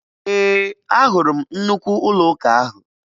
Ee, ahụrụ m nnukwu ụlọụka ahụ.